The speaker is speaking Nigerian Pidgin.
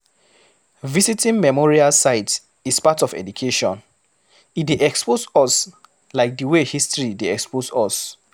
Visiting memorial sites is part of education, e dey expose us like di wey history dey expose us